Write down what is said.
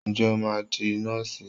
Ǹjẹ́ o máa di Nọ́ọ̀sì?